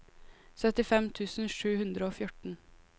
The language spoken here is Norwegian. syttifem tusen sju hundre og fjorten